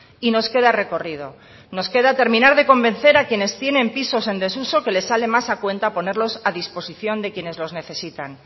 y nos queda recorrido nos queda terminar de convencer a quienes tienen pisos en desuso que les sale más a cuenta ponerlos a disposición de quienes los necesitan